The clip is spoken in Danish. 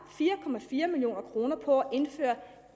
fire million kroner på at indføre